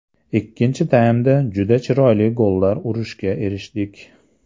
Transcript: Ikkinchi taymda juda chiroyli gollar urishga erishdik.